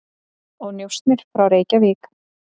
og njósnir frá Reykjavík.